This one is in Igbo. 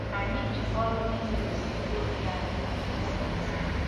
Anyị ji ọrụ inyefe mkpụrụ obi anyị maka ụmụnna anyị.